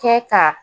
Kɛ ka